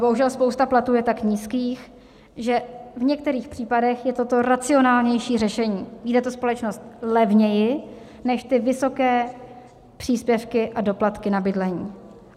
Bohužel spousta platů je tak nízkých, že v některých případech je toto racionálnější řešení, vyjde to společnost levněji než ty vysoké příspěvky a doplatky na bydlení.